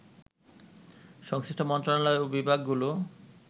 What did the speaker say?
সংশ্লিষ্ট মন্ত্রণালয় ও বিভাগ গুলো